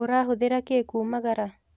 ũrahũthĩra kĩ kumagara?